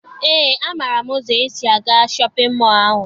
Eé, amaara m ụzọ esi aga shọpịn mọọ ahụ.